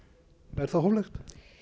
er það hóflegt